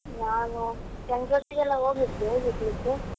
ನಾನು friends ಜೊತೆಗೆಲ್ಲ ಹೋಗಿದ್ದೆ picnic ಗೆ.